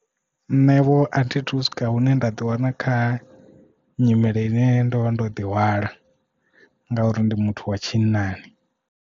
Nṋe vho athi thu swika hune nda ḓi wana kha nyimele ine ndo vha ndo ḓihwala ngauri ndi muthu wa tshinnani.